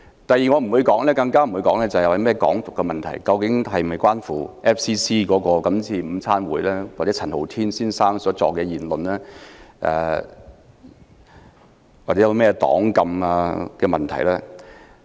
第二，我亦不會討論"港獨"，究竟事件是否與 FCC 的午餐會或陳浩天先生所作的言論有關，以及黨禁等問題。